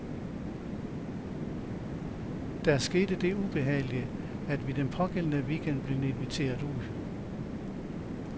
Der skete det ubehagelige, at vi den pågældende weekend blev inviteret ud.